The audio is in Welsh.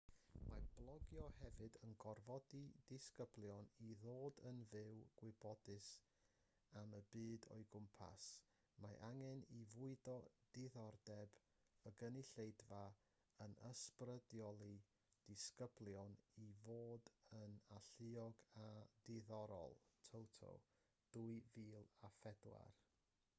mae blogio hefyd yn gorfodi disgyblion i ddod yn fwy gwybodus am y byd o'u cwmpas". mae'r angen i fwydo diddordeb y gynulleidfa yn ysbrydoli disgyblion i fod yn alluog a diddorol toto 2004